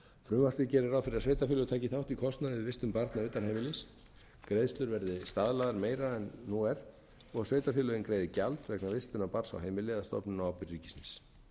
frumvarpið gerir ráð fyrir að sveitarfélög taki þátt í kostnaði við vistun barna utan heimilis greiðslur verði staðlaðar meira en nú er og sveitarfélögin greiði gjald vegna vistunar barna á heimili eða stofnun á ábyrgð ríkisins